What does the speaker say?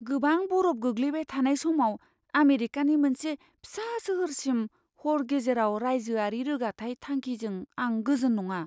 गोबां बरफ गोग्लैबाय थानाय समाव आमेरिकानि मोनसे फिसा सोहोरसिम हर गेजेराव राइजोआरि रोगाथाइ थांखिजों आं गोजोन नङा।